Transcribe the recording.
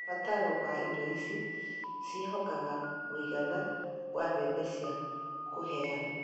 mabataro ma indo ici ciehokaga mũigana wa mbeca cia kũheanwo